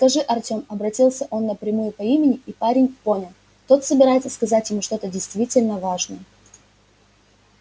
скажи артём обратился он напрямую по имени и парень понял тот собирается сказать ему что-то действительно важное